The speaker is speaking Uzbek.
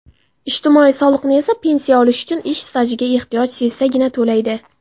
ijtimoiy soliqni esa pensiya olish uchun ish stajiga ehtiyoj sezsagina to‘laydi.